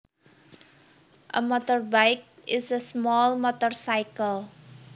A motorbike is a small motorcycle